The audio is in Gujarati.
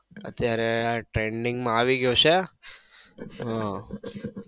અત્યારે trending માં આવી ગયો છે. હમ